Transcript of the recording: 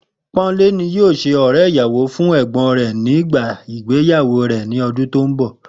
Pó̩nmilé ni yóò s̩e ò̩ré̩ ìyàwó fún è̩gbó̩n rẹ̀ nígbà ìgbéyàwó rè̩ ní o̩dún tó ń bò̩